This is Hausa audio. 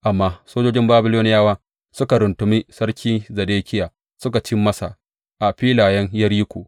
Amma sojojin Babiloniyawa suka runtumi sarki Zedekiya, suka ci masa a filayen Yeriko.